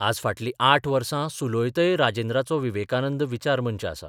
आज फाटलीं आठ वर्सा सुलौतय राजेंद्राचो विवेकानंद विचार मंच आसा.